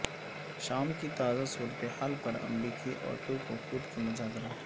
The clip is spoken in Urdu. شام کی تازہ صورتحال پر امریکی اور ترک وفود کے مذاکرات